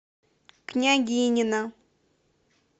княгинино